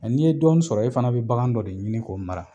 ni ye dɔɔni sɔrɔ e fana be bakan dɔ de ɲini k'o mara.